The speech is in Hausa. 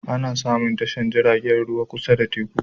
Ana samun tashar jiragen ruwa kusa da teku